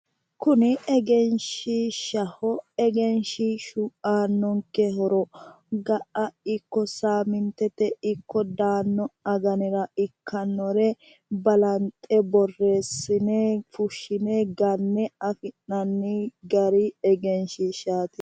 Kuni egenshiishshaho, kuni egenshiishshu aannonke horo ga"a ikko saamintete ikko daanno aganira ikkannore balanxe borreessine fushshine ganne afi'nanni gari egenshiishaati.